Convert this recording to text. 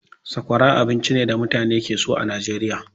Sakwara abinci ne da mutane ke so a Nijeriya.